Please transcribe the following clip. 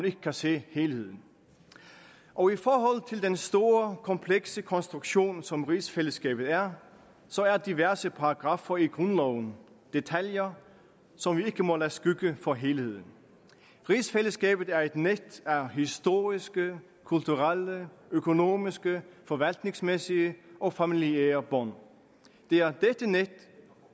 ikke kan se helheden og i forhold til den store komplekse konstruktion som rigsfællesskabet er så er diverse paragraffer i grundloven detaljer som vi ikke må lade skygge for helheden rigsfællesskabet er et net af historiske kulturelle økonomiske forvaltningsmæssige og familiære bånd det er dette net